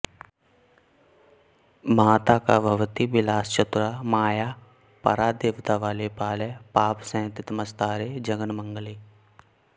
मातः का भवती विलासचतुरा माया परा देवता बाले पालय पापसंहतितमस्तारे जगन्मङ्गले